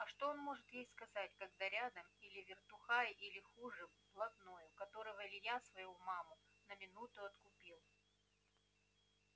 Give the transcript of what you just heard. а что он может ей сказать когда рядом или вертухай или хуже блатной у которого илья свою маму на минуту откупил